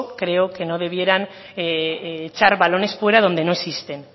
creo que no debieran echar balones fuera donde no existen